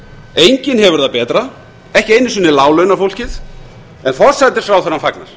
enginn hefur það betra ekki einu sinni láglaunafólkið en forsætisráðherra fagnar